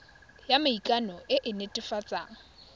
ya maikano e e netefatsang